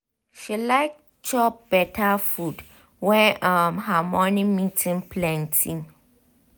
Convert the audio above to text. she like chop better food when um her morning meeting plenty.